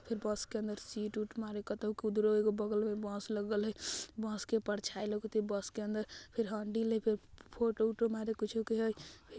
फेर बस के अंदर सीट उट मारी कतहु एगो बगल में एगो बस लगल हई बस के परछाई लउकत हई बस के अंदर फिर हैंडल हई फिर फोटो ओटो मारी कुछु के हई।